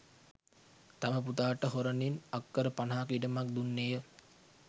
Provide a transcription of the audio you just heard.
තම පුතාට හොරණින් අක්‌කර පනහක ඉඩමක්‌ දුන්නේය